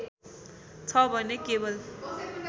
छ भने केवल